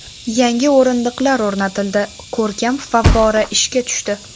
Yangi o‘rindiqlar o‘rnatildi, ko‘rkam favvora ishga tushdi.